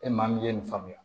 E maa min ye nin faamuya